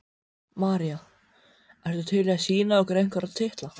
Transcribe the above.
María: Ertu til í að sýna okkur einhverja titla?